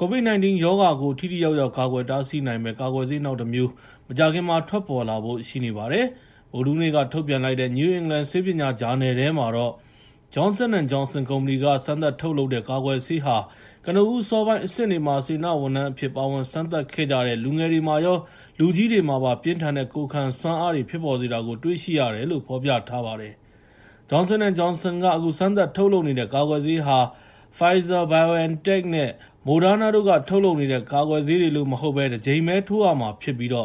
ကိုဗစ် ၁၉ ရောဂါကို ထိထိရောက်ရောက် ကာကွယ်တားဆီးနိုင်မယ့် ကာကွယ်ဆေးနောက်တမျိုး မကြာခင်မှာ ထွက်ပေါ်လာဖို့ ရှိနေပါတယ်။ Johnson & Johnson ကုမ္ပဏီက စမ်းသပ်ထုတ်လုပ်နေတဲ့ ကာကွယ်ဆေးဟာ ကနဦး အစောပိုင်းအဆင့်တွေမှာ စေတနာဝန်ထမ်းအဖြစ်နဲ့ ပါဝင်စမ်းသပ်ခဲ့ကြတဲ့ လူငယ်တွေမှာရော လူကြီးတွေမှာပါ ပြင်းထန်တဲ့ ကိုယ်ခံစွမ်းအားတွေ ဖြစ်ပေါ်စေတာကို တွေ့ရှိရတယ်လို့ ဗုဒ္ဓဟူးနေ့ထုတ် New England ဆေးပညာဂျာနယ်ထဲမှာ ဖော်ပြထားပါတယ်။ Johnson & Johnson က အခုစမ်းသပ်ထုတ်လုပ်နေတဲ့ ကာကွယ်ဆေးဟာ Pfizer-BioNTech နဲ့ Moderna တို့က ထုတ်လုပ်နေတဲ့ ကာကွယ်ဆေးတွေလို မဟုတ်ဘဲ တကြိမ်ပဲ ထိုးရမှာဖြစ်ပြီး လွ